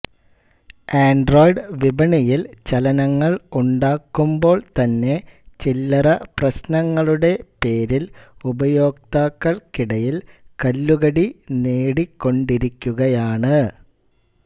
Android വിപണിയിൽ ചലനങ്ങൾ ഉണ്ടാക്കുമ്പോൾ തന്നെ ചില്ലറ പ്രശ്നങ്ങളുടെ പേരിൽ ഉപയോക്താക്കൾക്കിടയിൽ കല്ലുകടി നേടിക്കൊണ്ടിരിക്കുകയാണ്